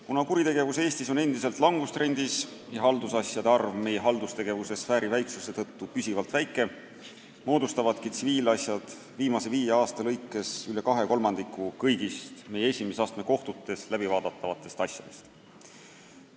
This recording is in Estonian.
Kuna kuritegevus Eestis on endiselt langustrendis ja haldusasjade arv meie haldustegevuse sfääri väiksuse tõttu püsivalt väike, moodustavadki tsiviilasjad viimase viie aasta lõikes üle 2/3 kõigist meie esimese astme kohtutes läbivaadatavatest asjadest.